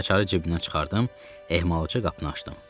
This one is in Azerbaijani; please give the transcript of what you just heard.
Açarı cibimdən çıxardım, ehmalca qapını açdım.